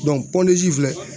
filɛ